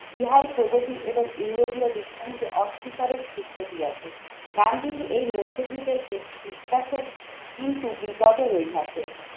ইহাই প্রগতি এবং ইউরোপীয় বিজ্ঞানকে অস্বীকারের সূত্র দিয়ে আছে। গান্ধীজি এই মধ্যযুগের বিশ্বাসের কিন্তু বিপদের ওই হাতে